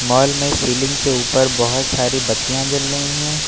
Hall में ceiling के ऊपर बहुत सारी बत्तियां जल रही हैं।